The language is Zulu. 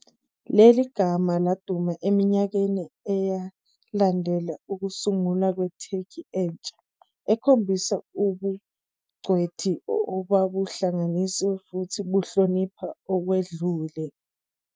Leli gama laduma eminyakeni eyalandela ukusungulwa kweTurkey entsha, ekhombisa ubungcweti obabuhlanganisa futhi buhlonipha okwedlule.